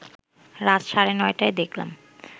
রাত সাড়ে নটায় দেখলাম